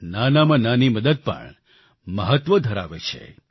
નાનામાં નાની મદદ પણ મહત્વ ધરાવે છે